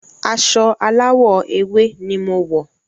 Aṣọ aláwọ̀ ewé ni mo wọ̀.